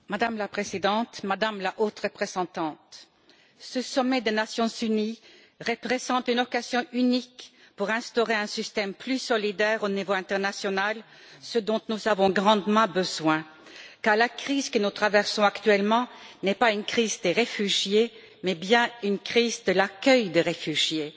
Madame la Présidente, Madame la Haute représentante, ce sommet des Nations unies représente une occasion unique pour instaurer un système plus solidaire au niveau international, ce dont nous avons grandement besoin car la crise que nous traversons actuellement n'est pas une crise des réfugiés mais bien une crise de l'accueil des réfugiés.